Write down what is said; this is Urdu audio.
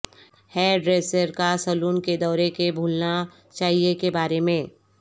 ہیارڈریسر کا سیلون کے دورے بھولنا چاہئے کے بارے میں